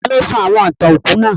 Taló sọ àwon ìtàn òkú náà?